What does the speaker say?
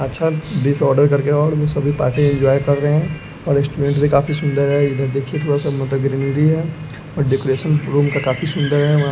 अच्छा बीस ऑर्डर कर के और वो सभी पार्टी इन्जॉय कर रहे हैं और स्टूडेंट भी काफी सुंदर है इधर देखिए थोड़ा सा ग्रीनरी है और डेकोरेसन रूम का काफी सुंदर है --